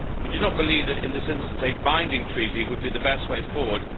We do not believe that, in this instance, a binding treaty would be the best way forward.